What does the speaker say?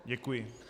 Děkuji.